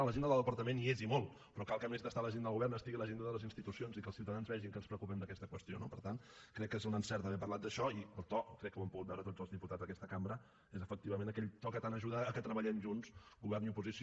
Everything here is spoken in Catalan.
a l’agenda del departament hi és i molt però cal que a més d’estar a l’agenda del govern estigui a l’agenda de les institucions i que els ciutadans vegin que ens preocupem d’aquesta qüestió no per tant crec que és un encert haver parlat d’això i el to crec que ho han pogut veure tots els diputats d’aquesta cambra és efectivament aquell to que tant ajuda que treballem junts govern i oposició